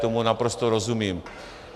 Tomu naprosto rozumím.